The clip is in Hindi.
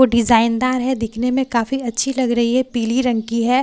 वो डिजाइनदार है दिखने में काफी अच्छी लग रही है पीली रंग की है।